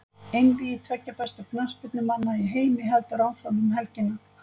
Einvígi tveggja bestu knattspyrnumanna í heimi heldur áfram um helgina.